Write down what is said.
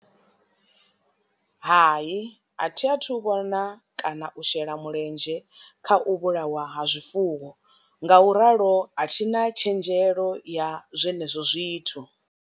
Hai, a thi a thu vhona kana u shela mulenzhe kha u vhulawa ha zwifuwo nga u ralo a thina tshenzhelo ya zwenezwo zwithu.